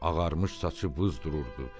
Ağarmış saçı buz dururdu.